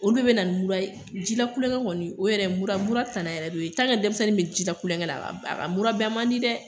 Olu bɛɛ be na ni mura ye. Ji la kulonkɛ kɔni o yɛrɛ mura ,mura tana yɛrɛ de y'o ye. ni denmisɛnnin be ji la kulonkɛ la a kamura ban man di dɛ.